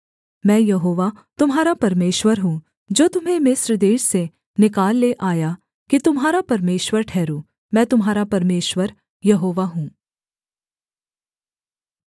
मैं यहोवा तुम्हारा परमेश्वर हूँ जो तुम्हें मिस्र देश से निकाल ले आया कि तुम्हारा परमेश्वर ठहरूँ मैं तुम्हारा परमेश्वर यहोवा हूँ